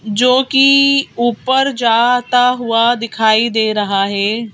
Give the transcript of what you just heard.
जो कि ऊपर जाता हुआ दिखाई दे रहा है।